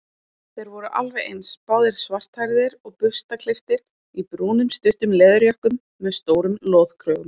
Þeir voru alveg eins, báðir svarthærðir og burstaklipptir í brúnum stuttum leðurjökkum með stórum loðkrögum.